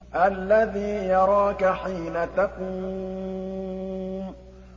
الَّذِي يَرَاكَ حِينَ تَقُومُ